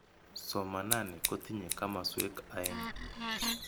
Somanani kotinye kamaswek aeng'.